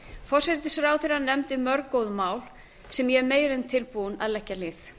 forsætisráðherra nefndi mörg góð mál sem ég er meira en tilbúin að leggja lið